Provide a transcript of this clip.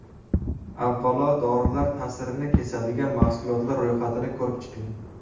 Avvalo dorilar ta’sirini kesadigan mahsulotlar ro‘yxatini ko‘rib chiqing!